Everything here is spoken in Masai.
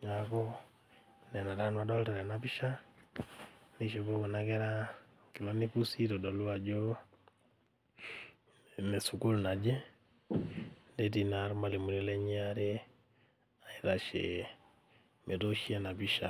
niaku nena taa nanu adolta tena pisha nishopo kuna kera inkilani pusi aitodolu ajo ine sukuul naje netii naa irmalimuni lenye aare aitashe metooshi ena pisha.